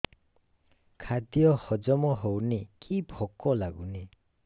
ଖାଦ୍ୟ ହଜମ ହଉନି କି ଭୋକ ଲାଗୁନି